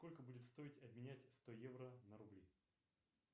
сколько будет стоить обменять сто евро на рубли